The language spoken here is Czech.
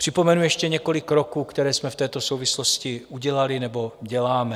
Připomenu ještě několik kroků, které jsme v této souvislosti udělali nebo děláme.